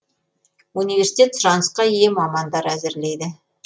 университет сұранысқа ие мамандар әзірлейді